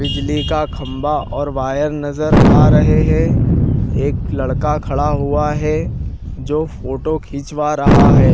बिजली का खंभा और वायर नजर आ रहे है एक लड़का खड़ा हुआ है जो फोटो खिंचवा रहा है।